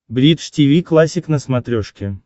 бридж тиви классик на смотрешке